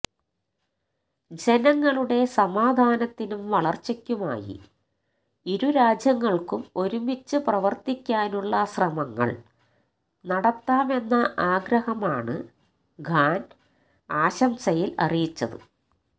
ജനങ്ങളുടെ സമാധാനത്തിനും വളര്ച്ചയ്ക്കുമായി ഇരുരാജ്യങ്ങള്ക്കും ഒരുമിച്ച് പ്രവര്ത്തിക്കാനുള്ള ശ്രമങ്ങള് നടത്താമെന്ന ആഗ്രഹമാണ് ഖാന് ആശംസയില് അറിയിച്ചത്